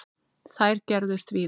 Þær gerðust víða.